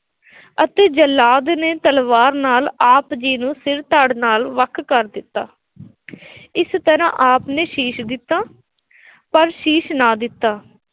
ਅਤੇ ਜਲਾਦ ਨੇ ਤਲਵਾਰ ਨਾਲ ਆਪ ਜੀ ਨੂੰ ਸਿਰ ਧੜ ਨਾਲ ਵੱਖ ਕਰ ਦਿੱਤਾ ਇਸ ਤਰ੍ਹਾਂ ਆਪ ਨੇ ਸ਼ੀਸ਼ ਦਿੱਤਾ ਪਰ ਸ਼ੀਸ਼ ਨਾ ਦਿੱਤਾ,